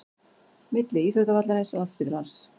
Milli íþróttavallarins, landsspítalans